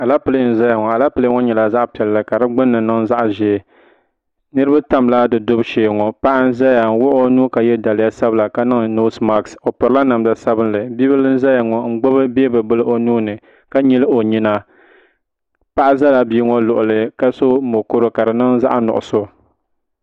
Alapilee n zaya ŋɔ Alapilee ŋɔ nyɛla zaɣa piɛlli ka di gbinni niŋ zaɣa ʒee niriba tamla di dubu shee ŋɔ paɣa n zaya n wuɣi o nuu ka ye daliya sabla ka niŋ noosi maasi o pirila namda sabinli bia bila n zaya ŋɔ n gbibi beebi bila o nuuni ka nyili o nyina paɣa zala bia ŋɔ luɣuli ka so mokuru ka di niŋ zaɣa nuɣuso.